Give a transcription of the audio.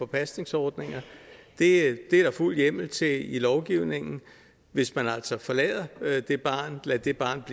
pasningsordninger det er der fuld hjemmel til i lovgivningen hvis man altså forlader det barn lader det barn